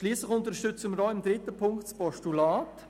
Schliesslich unterstützen wir auch in Ziffer 3 das Postulat.